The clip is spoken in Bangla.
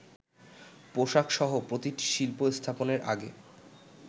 পোশাকসহ প্রতিটি শিল্প স্থাপনের আগে